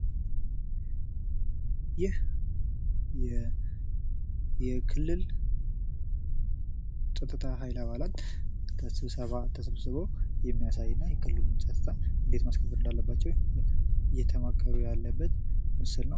ይህ የክልል ጸጥታ ሀይል አባላት ስብሰባ ተሰብስበው የሚያሳይ እና የክልሉን ጸጥታ እንደት ማስከበር እንዳለባቸው እየተማከሩ ያለበት ምስል ነው።